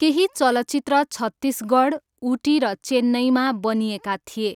केही चलचित्र छत्तिसगढ, उटी र चेन्नईमा बनिएका थिए।